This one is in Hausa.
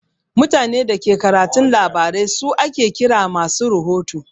Mutanen Dake karatun labarai su ake kira masu rahoto.